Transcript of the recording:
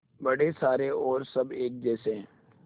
बड़े सारे और सब एक जैसे